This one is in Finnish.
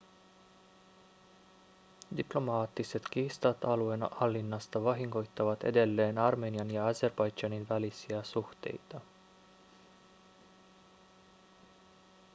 diplomaattiset kiistat alueen hallinnasta vahingoittavat edelleen armenian ja azerbaidžanin välisiä suhteita